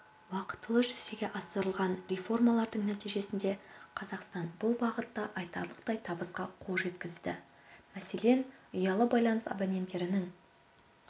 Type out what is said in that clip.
уақытылы жүзеге асырылған реформалардың нәтижесінде қазақстан бұл бағытта айтарлықтай табысқа қол жеткізді мәселен ұялы байланыс абоненттерінің